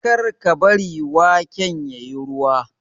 kar ka bari waken ya yi ruwa!